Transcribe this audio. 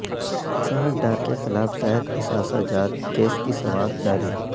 اسحاق ڈار کے خلاف زائد اثاثہ جات کیس کی سماعت جاری